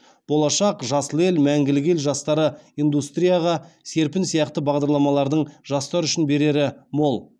болашақ жасыл ел мәңгілік ел жастары индустрияға серпін сияқты бағдарламалардың жастар үшін берері мол